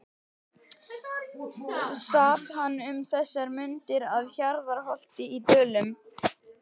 Sat hann um þessar mundir að Hjarðarholti í Dölum.